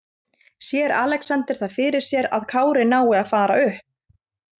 Sér Alexander það fyrir sér að Kári nái að fara upp?